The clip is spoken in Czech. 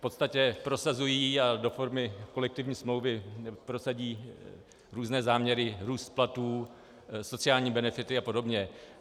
V podstatě prosazují a do formy kolektivní smlouvy prosadí různé záměry, růst platů, sociální benefity a podobně.